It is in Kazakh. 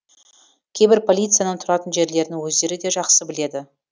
кейбір полицияның тұратын жерлерін өздері де жақсы біледі